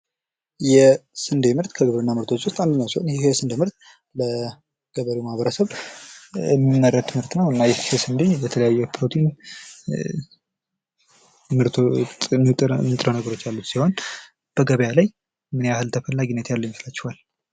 የስንዴ ምርት ከግብርና ምርቶች ውስጥ አንዶ ሲሆን ይሄ የስንዴ ምርት ለገበሬው ማህበረሰብ የሚመረት ምርት ነው ይህስ እንዴ በተለያዩ ፕሮቲን ንጥረ ነገሮች ያሉ ሲሆን በገበያ ላይ ምን ያህል ተስፈላጊነት ያለው ይመስላቸዋል?